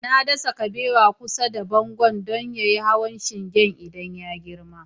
Na dasa kabewar kusa da bango don ya iya hawa shingen idan ya girma